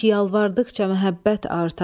Sanki yalvardıqca məhəbbət artar.